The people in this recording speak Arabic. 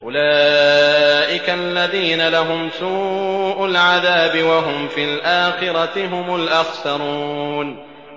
أُولَٰئِكَ الَّذِينَ لَهُمْ سُوءُ الْعَذَابِ وَهُمْ فِي الْآخِرَةِ هُمُ الْأَخْسَرُونَ